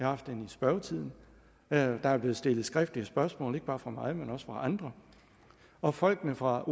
haft hende i spørgetiden der er blevet stillet skriftlige spørgsmål ikke bare fra mig men også fra andre og folkene fra